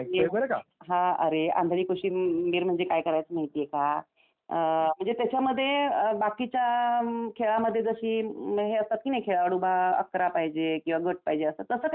हा अरे आंधळी कोशिंबीर म्हणजे काय करायचं माहिती आहे का? म्हणजे त्याच्या मधे बाकीच्या खेळांमध्ये जसे खेळाडू पाहिजे अकरा पाहिजे किंवा गट पाहिजे पाहिजे तसं काही याच्यामध्ये नसतं.